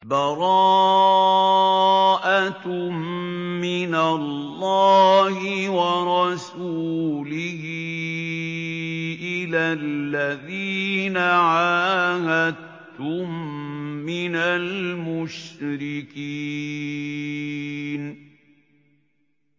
بَرَاءَةٌ مِّنَ اللَّهِ وَرَسُولِهِ إِلَى الَّذِينَ عَاهَدتُّم مِّنَ الْمُشْرِكِينَ